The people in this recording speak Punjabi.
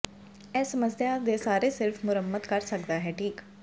ਇਹ ਸਮੱਸਿਆ ਦੇ ਸਾਰੇ ਸਿਰਫ ਮੁਰੰਮਤ ਕਰ ਸਕਦਾ ਹੈ ਠੀਕ